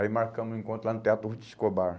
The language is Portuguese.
Aí marcamos um encontro lá no Teatro Ruth Escobar.